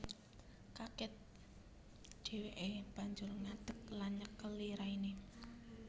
Kaget dheweke banjur ngadek lan nyekeli raine